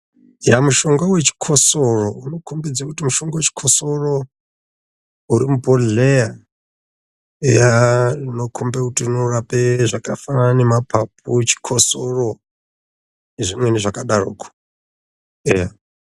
Yaa, mushonga wechikosoro unokombidze kuti mushonga wechikosoro uri mubhodhleya. Yaa, unokombe kuti unorape zvakafanana nemapapu, chikosoro nezvimweni zvakadaroko, eya.